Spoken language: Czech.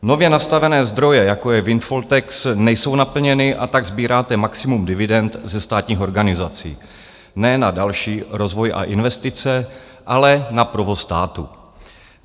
Nově nastavené zdroje, jako je windfall tax, nejsou naplněny, a tak sbíráte maximum dividend ze státních organizací ne na další rozvoj a investice, ale na provoz státu.